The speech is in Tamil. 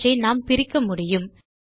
அவற்றை நாம் பிரிக்க முடியும்